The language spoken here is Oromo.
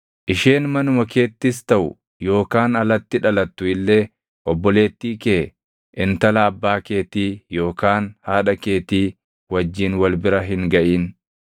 “ ‘Isheen manuma keettis taʼu yookaan alatti dhalattu illee obboleettii kee, intala abbaa keetii yookaan haadha keetii wajjin wal bira hin gaʼin.